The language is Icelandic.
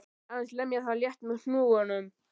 Aðeins lemja það létt með hnúunum.